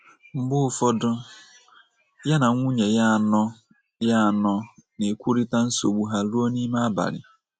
Mgbe ụfọdụ ya na nwunye ya anọ ya anọ na - ekwurịta nsogbu ha ruo n’ime abalị.